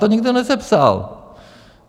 To nikdo nesepsal.